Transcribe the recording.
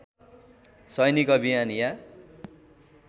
सैनिक अभियान या